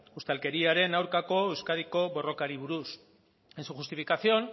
ustelkeriaren aurkako euskadiko borrokari buruz en su justificación